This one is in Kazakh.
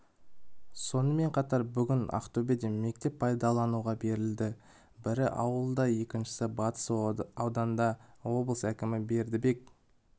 сонымен қатар бүгін ақтөбеде мектеп пайдалануға берілді бірі ауылында екіншісі батыс ауданында облыс әкімі бердібек